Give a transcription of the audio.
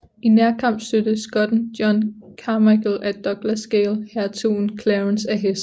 I nærkamp stødte skotten John Carmichael af Douglasdale hertugen af Clarence af hesten